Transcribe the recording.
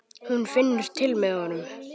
Hún finnur til með honum.